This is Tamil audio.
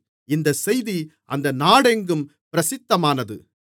இந்தச் செய்தி அந்த நாடெங்கும் பிரசித்தமானது